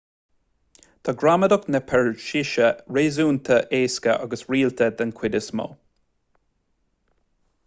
tá gramadach na peirsise réasúnta éasca agus rialta den chuid is mó